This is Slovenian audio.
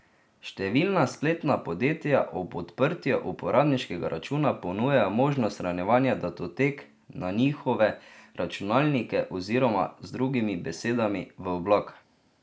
Številna spletna podjetja ob odprtju uporabniškega računa ponujajo možnost shranjevanja datotek na njihove računalnike oziroma, z drugimi besedami, v oblak.